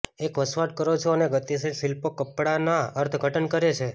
એક વસવાટ કરો છો અને ગતિશીલ શિલ્પો કપડાંના અર્થઘટન કરે છે